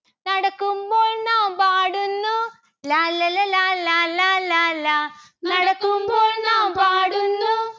നടക്കുമ്പോൾ നാം പാടുന്നു. ലാല്ലല ലാലാ ലാലാ ലാ. നടക്കുമ്പോൾ നാം പാടുന്നു